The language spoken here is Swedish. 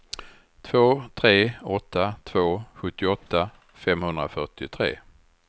två tre åtta två sjuttioåtta femhundrafyrtiotre